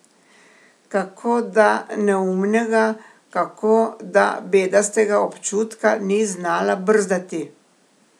Kako da neumnega, kako da bedastega občutka ni znala brzdati!